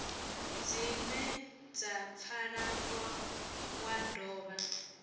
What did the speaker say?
dzine dza pfala wa dovha